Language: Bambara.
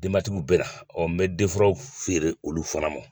Denbatigiw bɛ na n bɛ denfuraw feere olu fana mɔ.